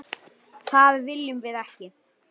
Konan yppti öxlum.